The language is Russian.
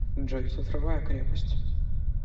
джой цифровая крепость